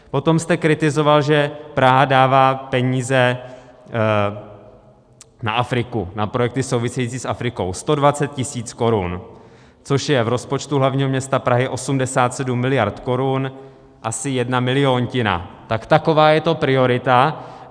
Potom jste kritizoval, že Praha dává peníze na Afriku, na projekty související s Afrikou, 120 000 korun, což je v rozpočtu hlavního města Prahy 87 miliard korun asi jedna miliontina, tak taková je to priorita.